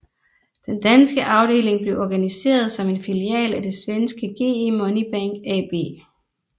Den danske afdeling blev organiseret som en filial af det svenske GE Money Bank AB